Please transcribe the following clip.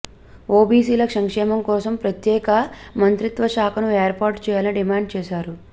ఓబీసీల సంక్షేమంకోసం ప్రత్యేక మంత్రిత్వ శాఖను ఏర్పాటు చేయాలని డిమాండ్ చేశారు